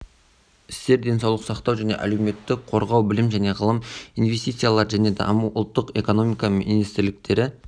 істер денсаулық сақтау және әлеуметтік қорғау білім және ғылым инвестициялар және даму ұлттық экономика министрліктері